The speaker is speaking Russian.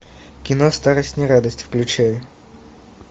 кино старость не радость включай